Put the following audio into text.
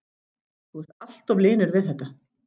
Þú ert alltof linur við þetta.